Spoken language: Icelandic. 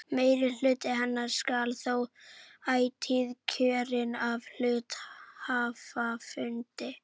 Meirihluti hennar skal þó ætíð kjörinn af hluthafafundi.